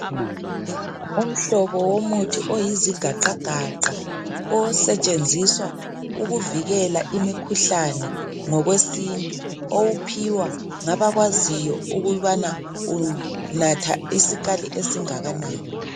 Umhlobo womuthi oyizigaqagaqa osetshenziswa ukuvikela imikhuhlane ngokwesintu owuphiwa ngabakwaziyo ukubana unatha isikali esingakanani.